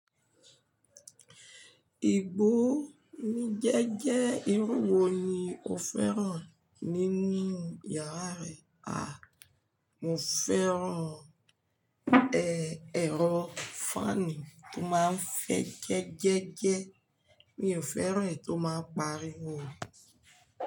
Ìgbó ńa jẹ́jẹ́, irú wo ni o fẹ́ràn ni nínu yàrá rẹ? À, mo fẹ́ràn, ẹ, ẹ̀rọ fáànù tó máa ń fẹ́ gẹ́gẹ́ gẹ́. Mi ò fẹ́ràn è tó máa ń pariwo.